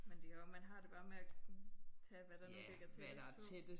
Men det også man har det bare med at tage hvad der nu ligger tættest på